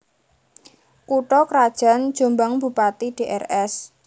Kutha krajan JombangBupati Drs